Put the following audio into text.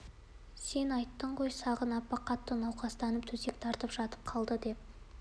сен айттың ғой сағын апа қатты науқастанып төсек тартып жатып қалды деп